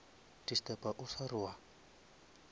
disturba o sa re wa